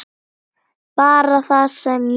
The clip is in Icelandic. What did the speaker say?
Bara það sem ég sagði.